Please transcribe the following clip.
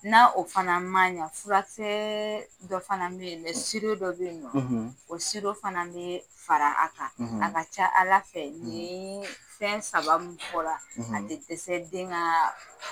N'a o fana man ɲa furakisɛ dɔ fana bɛ yen dɛ dɔ bɛ yen o fana bɛ fara a kan a ka ca Ala fɛ ni fɛn saba min fɔra a tɛ dɛsɛ den ka